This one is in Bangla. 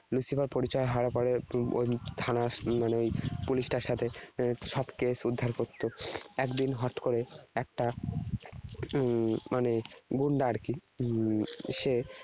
Lucifer পরিচয় হওয়ার পরে উহ ওই থানার মানে ওই police টার সাথে সব case উদ্ধার করত। একদিন হট করে একটা উম মানে গুন্ডা আর কি হম সে